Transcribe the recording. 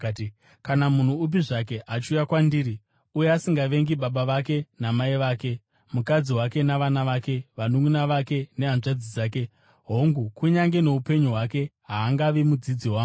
“Kana munhu upi zvake achiuya kwandiri uye asingavengi baba vake namai vake, mukadzi wake navana vake, vanunʼuna vake nehanzvadzi dzake, hongu, kunyange noupenyu hwake, haangavi mudzidzi wangu.